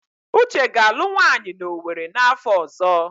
Uche ga-alụ nwaanyị na Owerri n'afọ ọzọ.